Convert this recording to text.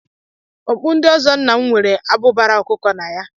Okpu ndị ọzọ nna m nwere abụbara ọkụkọ na ya